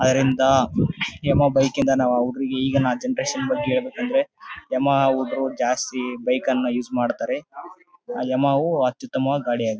ಅದರಿಂದ Yamaha bike ಯಿಂದ ನಮ ಹುಡುಗರು ಈಗಿನ ಜನರೇಷನ್ ಬಗ್ಗೆ ಹೇಳ್ಬೇಕು ಅಂದ್ರೆ ಯಮಹ ಹುಡುಗರು ಜಾಸ್ತಿ ಬೈಕ್ ಕನ್ನ ಯೂಸ್ ಮಾಡ್ತಾರೆ ಯಮಹ ವು ಅತ್ಯುತಮ ಗಾಡಿ ಆಗಿದೆ .